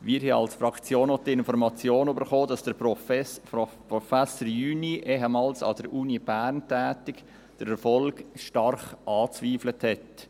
Wir haben als Fraktion auch die Information erhalten, dass Professor Jüni, ehemals an der Uni Bern tätig, den Erfolg stark angezweifelt hat.